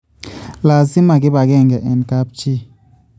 laasima kibakenke eng kaabchi